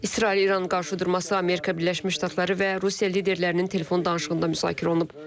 İsrail-İran qarşıdurması Amerika Birləşmiş Ştatları və Rusiya liderlərinin telefon danışığında müzakirə olunub.